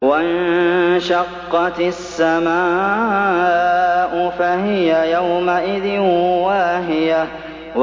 وَانشَقَّتِ السَّمَاءُ فَهِيَ يَوْمَئِذٍ وَاهِيَةٌ